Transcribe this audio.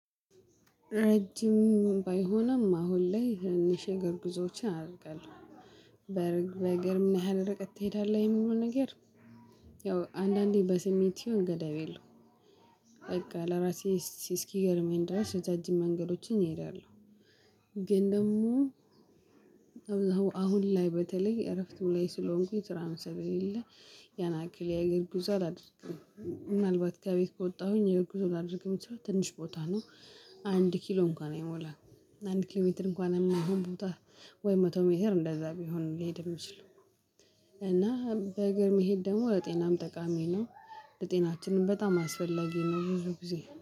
ረጅም ባይሆንም አሁን ላይ ትንንሽ የእግር ጉዞዎችን አደርጋለሁ በእር በእግር ምን ያህል ረቀት ትሄዳለህ የምለው ነገር። ያው አንዳንዴ በስሜት ይሁን ገደብ የለውም በቃ ለራሴ እስኪገርመኝ ድረስ ረጃጅም መንገዶችን እሄዳለሁ። ግን ደግሞ አሁን ላይ በተለይ እረፍት ላይ ስለሆንኩኝ ስራም ስለ ሌለኝ ያናክል የእግር ጉዞ አላደርግም። ምናልባት ከቤት ከወጠሁኝ የእግር ጉዞ ላደርግ የምትችለው ትንሽ ቦታ ነው። አንድ ኪሎ እንኳን አይሞላም አንድ ኪሎ ሜትር እንኳን የማይሆን ቦታ ወይ መቶ ሜትር እንደዛ ቢሆን ነው ሊሄድ የሚችለው። እና በእግር መሄድ ደግሞ ለጤናም ጠቃሚ ነው። ለጤናችንም በጣም አስፈላጊ ነው ብዙ ጊዜ